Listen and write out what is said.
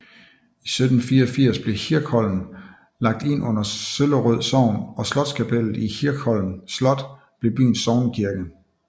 I 1784 blev Hirscholm lagt ind under Søllerød Sogn og slotskapellet i Hirschholm Slot blev byens sognekirke